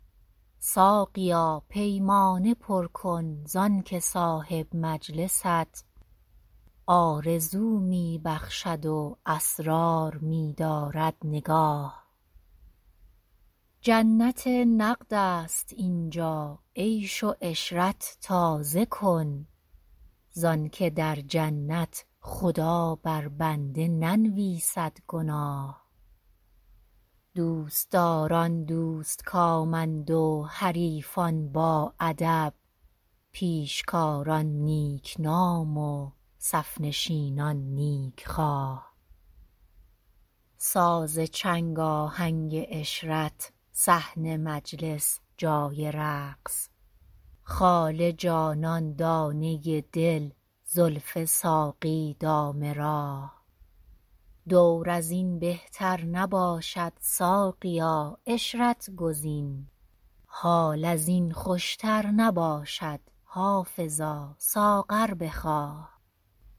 ساقیا پیمانه پر کن زانکه صاحب مجلست آرزو می بخشد و اسرار می دارد نگاه جنت نقد است اینجا عیش و عشرت تازه کن زانکه در جنت خدا بر بنده ننویسد گناه دوستداران دوستکامند و حریفان باادب پیشکاران نیکنام و صف نشینان نیکخواه ساز چنگ آهنگ عشرت صحن مجلس جای رقص خال جانان دانه دل زلف ساقی دام راه دور از این بهتر نباشد ساقیا عشرت گزین حال از این خوشتر نباشد حافظا ساغر بخواه